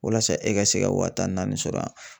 Walasa e ka se ka wa tan naani sɔrɔ yan.